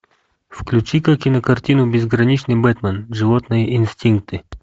включи ка кинокартину безграничный бэтмен животные инстинкты